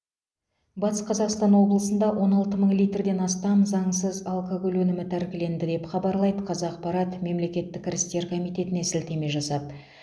батыс қазақстан облысында он алты мың литрден астам заңсыз алкоголь өнімі тәркіленді деп хабарлайды қазақпарат мемлекеттік кірістер комитетіне сілтеме жасап